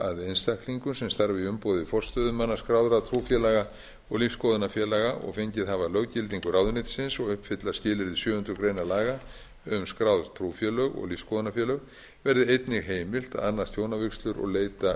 að einstaklingum sem starfa í umboði forstöðumanna skráðra trúfélaga og lífsskoðunarfélaga og fengið hafa löggildingu ráðuneytisins og uppfylla skilyrði sjöundu grein laga um skráð trúfélög og lífsskoðunarfélög verði einnig heimilt að annast hjónavígslur og leita um